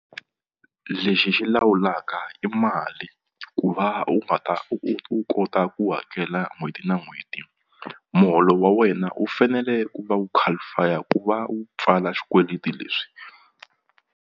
Lexi xi lawulaka i mali ku va u nga ta u kota ku hakela n'hweti na n'hweti muholo wa wena wu fanele ku va wu qualify-a ku va wu pfala xikweleti leswi.